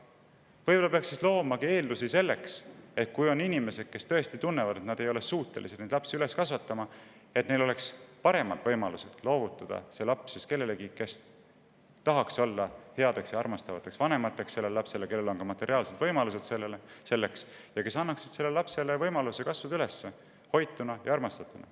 Võib-olla peaks siis loomagi eeldusi selleks, et kui on inimesed, kes tõesti tunnevad, et nad ei ole suutelised last üles kasvatama, siis luua neile paremad võimalused, et nad saaksid loovutada selle lapse nendele, kes tahaksid olla sellele lapsele headeks ja armastavateks vanemateks, kellel on ka materiaalsed võimalused selleks ja kes annaksid sellele lapsele võimaluse kasvada üles hoituna ja armastatuna.